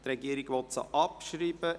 Die Regierung will sie abschreiben.